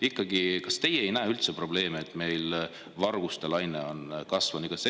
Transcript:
Ikkagi, kas teie ei näe üldse probleemi selles, et meil on varguste laine?